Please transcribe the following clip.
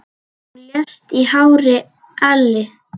Hún lést í hárri elli.